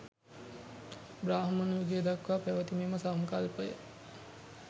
බ්‍රාහ්මණ යුගය දක්වා පැවැති මෙම සංකල්පය